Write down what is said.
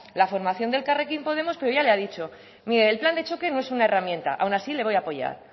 la formación de elkarrekin podemos pero ya le ha dicho mire el plan de choque no es una herramienta aun así le voy a apoyar